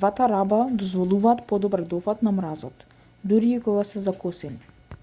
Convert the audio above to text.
двата раба дозволуваат подобар дофат на мразот дури и кога се закосени